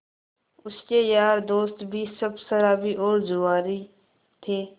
उसके यार दोस्त भी सब शराबी और जुआरी थे